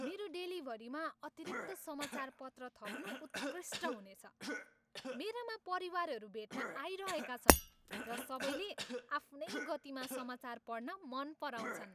मेरो डेलिभरीमा अतिरिक्त समाचारपत्र थप्नु उत्कृष्ट हुनेछ! मेरामा परिवारहरू भेट्न आइरहेका छन्, र सबैले आफ्नै गतिमा समाचार पढ्न मन पराउँछन्।